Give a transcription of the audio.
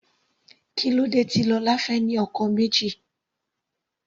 Kílódé tí Lola fẹ́ ní ọkọ méjì.